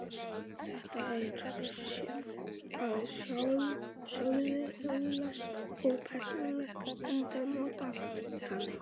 Þetta er að sjálfsögðu huglægt og persónulegt enda notað þannig.